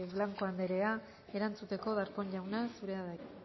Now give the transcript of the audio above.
blanco anderea erantzuteko darpón jauna zurea da hitza